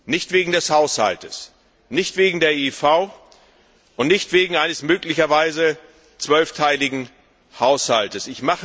Nicht wegen des Haushaltes, nicht wegen der IIV, und nicht wegen eines möglicherweise zwölfteiligen Haushaltes.